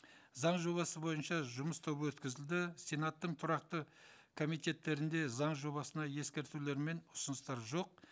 заң жобасы бойынша жұмыс тобы өткізілді сенаттың тұрақты комитеттерінде заң жобасына ескертулер мен ұсыныстар жоқ